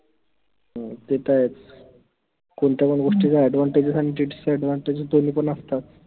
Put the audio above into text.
हम्म तेत आहेच कोनत्या पन गोष्टीचे advantages आणि disadvantages दोन्ही पन असतात.